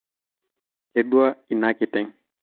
kedua inakiteng